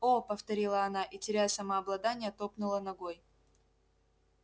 о повторила она и теряя самообладание топнула ногой